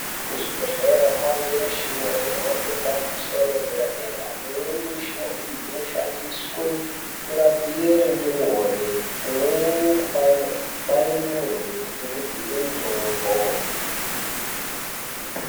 Kuzvibhedhlera kwakuwanikwa mushina hwemhando yepamusoro yedera dera imweni yemushina iyi inoshandiswa kurapira ndumure umweni kubaya ndumure ngekudzipa mutombo.